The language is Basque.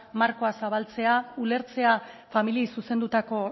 markoa zabaltzea ulertzea familiei zuzendutako